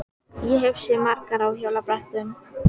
Ég hef ekki séð margar á hjólabrettum.